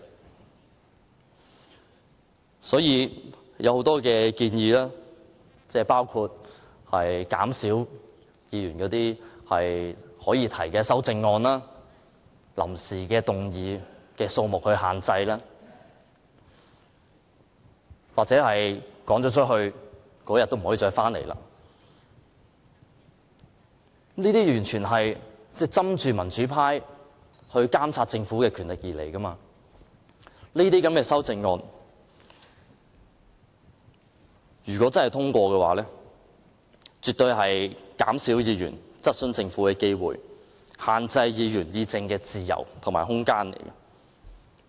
該指引提出的很多建議，包括減少議員可以提出的修正案、臨時動議的數目，又或是議員被趕離會議廳後，當天再不能返回會議廳等，完全是針對民主派監察政府的權力而提出的，這些修正案如果獲得通過，絕對會減少議員質詢政府的機會，限制議員議政的自由和空間。